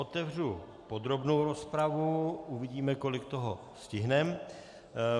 Otevřu podrobnou rozpravu, uvidíme, kolik toho stihneme.